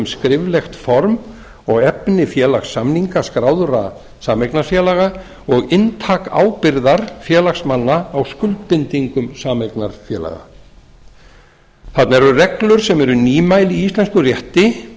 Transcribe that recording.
skriflegt form og efni félagssamninga skráðra sameignarfélaga og inntak ábyrgðar félagsmanna á skuldbindingum sameignarfélaga þarna eru reglur sem eru nýmæli í íslenskum rétti